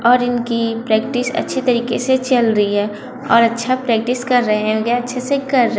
और इनकी प्रेक्टिस अच्छी तरीके से चल रही है और अच्छा प्रैक्टिस कर रहे होंगे अच्छे से कर रहे--